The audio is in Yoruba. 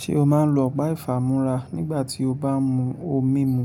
Ṣé o máa ń lo ọ̀pá ìfámúra nígbà tí o bá ń mu ohun mimu?